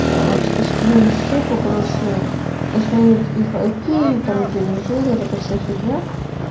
а что скинули ссылку короче узнают их айпи там где они живут вот эта вся фигня